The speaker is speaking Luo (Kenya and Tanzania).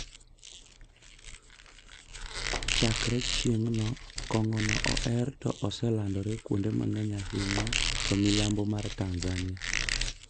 chakre chieng`no kong`ono oher to oselandre kuonde mang`eny ahinya to milambo mar Tanzania.